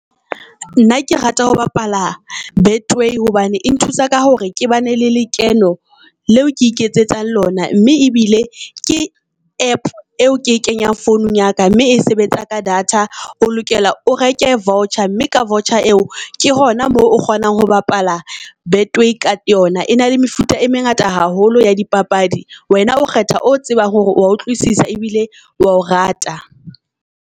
Nna ke rata ho bapala Betway hobane e nthusa ka hore ke ba ne le lekeno leo ke iketsetsang lona mme ebile ke app eo ke e kenyang founung ya ka mme e sebetsa ka data. O lokela o reke voucher, mme ka voucher eo ke hona moo o kgonang ho bapala betway ka yona. E na le mefuta e mengata haholo ya di papadi. Wena o kgetha o tsebang hore wa utlwisisa ebile wa o rata.